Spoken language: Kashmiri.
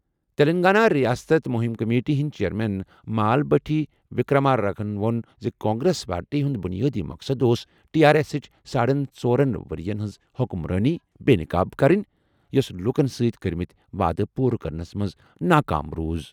تلنگانہ ریاست مہم کمیٹی ہٕنٛدۍ چیئرمین مال بھٹی وِکرمارکا ہَن ووٚن زِ کانگریس پارٹی ہُنٛد بُنیٲدی مقصد اوس ٹی آر ایسٕچ ساڑن ژورَن ؤرۍ یَن ہٕنٛز حکمرٲنی بے نقاب کرٕنۍ، یوٚس لوٗکَن سۭتۍ کٔرمٕتۍ وعدٕ پوٗرٕ کرنس منٛز ناکام روٗز۔